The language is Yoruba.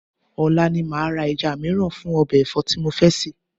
Ọ̀la ni màá ra ẹja mìíràn fún ọbẹ̀ ẹ̀fọ́ tí mo fẹ́ sè